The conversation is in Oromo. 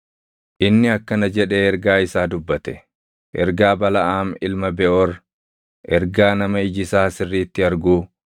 Inni akkana jedhee ergaa isaa dubbate: Ergaa Balaʼaam ilma Beʼoor, ergaa nama iji isaa sirriitti arguu,